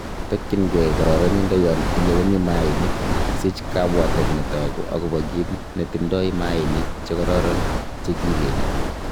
Tokyin gee kororonindo yon ileweni mainik, sich kabwatet netogu agobo kit netindo mainik che kororon che kikenye.